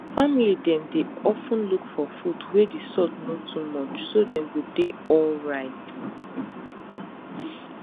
family dem dey of ten look for food wey the salt no too much so dem go dey alright